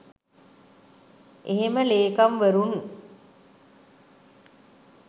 එහෙම ලේකම්වරුන්